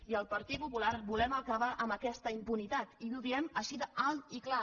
i el partit popular volem acabar amb aquesta impunitat i ho diem així d’alt i clar